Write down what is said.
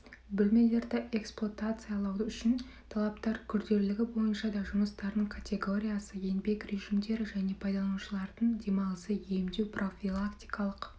бөлмелерді эксплуатациялау үшін талаптар күрделілігі бойынша да жұмыстардың категориясы еңбек режимдері және пайдаланушылардың демалысы емдеу профилактикалық